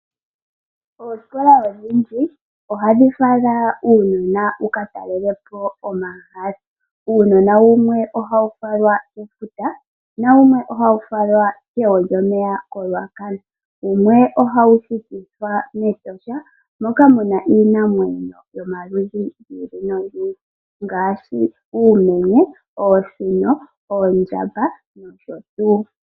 Oosikola odhindji ohadhi fala uunona wuka talele po omahala. Uunona wumwe ohawu falwa komafuta nawumwe okegwo lyomeya koRuacana. Wumwe ohawu pitithwa mEtosha moka muna iinamwenyo yomaludhi ngaashi oomenye, oosino, oondjamba nosho tuu.